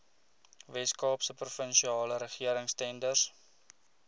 weskaapse provinsiale regeringstenders